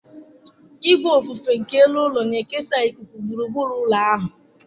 Ìgwè ofufe nke elu ụlọ na-ekesa ikuku gburugburu ụlọ ahụ.